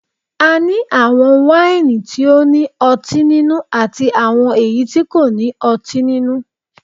A ní àwọn wáìnì tí ó ní ọtín nínú àti àwọn èyí tí kò ní ọtín nínú